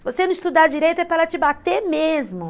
Se você não estudar direito, é para ela te bater mesmo.